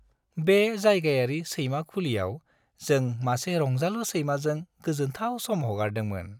बे जायगायारि सैमा खुलियाव जों मासे रंजालु सैमाजों गोजोनथाव सम हगारदोंमोन।